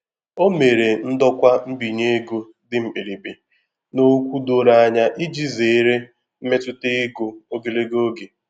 O mere ndokwa mbinye ego dị mkpirikpi na okwu doro anya iji zere mmetụta ego ogologo oge.